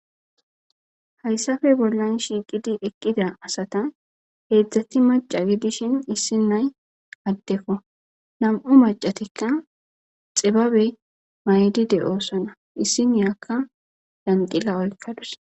Hayisappe bollan shiqidi eqida asata hedzati mac'a gidishin issi na'ayi adeko na'mu mac'atika xibabe mayidi de'osona issiniyaka zanxila oyiqadus